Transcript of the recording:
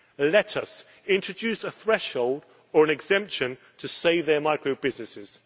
Let us introduce a threshold or an exemption to save their micro businesses.